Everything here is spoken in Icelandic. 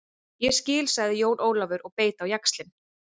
Ég skil, sagði Jón Ólafur og beit á jaxlinn.